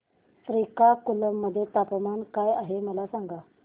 श्रीकाकुलम मध्ये तापमान काय आहे मला सांगा